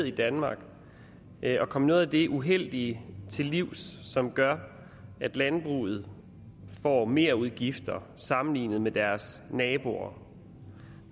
i danmark ned og komme noget af det uheldige til livs som gør at landbruget får merudgifter sammenlignet med deres naboer